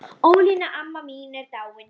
Ólína amma mín er dáin.